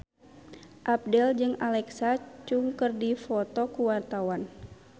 Abdel jeung Alexa Chung keur dipoto ku wartawan